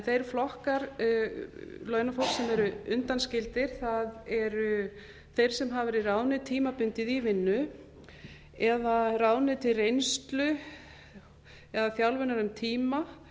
þeir flokkar sem hafa verið undanskildir eru þeir sem hafa verið ráðnir tímabundið í vinnu eða ráðnir til reynslu eða þjálfunar um tíma